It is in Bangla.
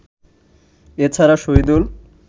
এছাড়া শহিদুল